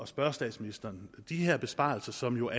spørge statsministeren de her besparelser som jo